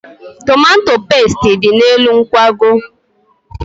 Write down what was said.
Tomato pestị dị n'elu nkwago.